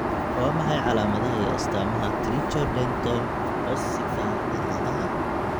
Waa maxay calaamadaha iyo astaamaha Tricho dento ossiska cilaadaha?